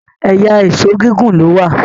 ẹyà Èṣó gígùn ló wá